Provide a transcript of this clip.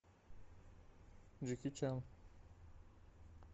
джеки чан